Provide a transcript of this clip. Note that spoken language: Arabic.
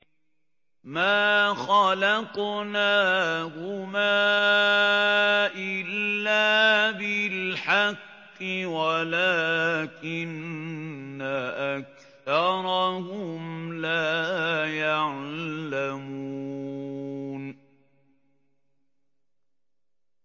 مَا خَلَقْنَاهُمَا إِلَّا بِالْحَقِّ وَلَٰكِنَّ أَكْثَرَهُمْ لَا يَعْلَمُونَ